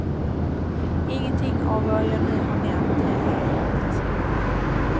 Ingenting, av vad jag nu har nämnt, är märkvärdigt.